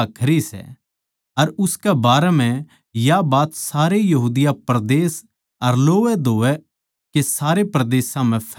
अर उसकै बारै म्ह या बात सारे यहूदिया परदेस अर लोवैधोवै के सारे परदेसां म्ह फैलगी